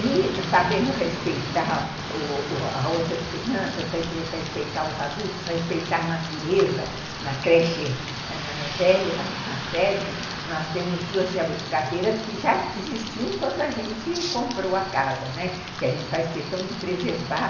E sabendo respeitar outras crianças, respeitar os adultos, respeitar a natureza, na creche ãh velha, na sede, nós temos duas jabuticabeiras que já existiam quando a gente comprou a casa, né, que a gente faz questão de preservar.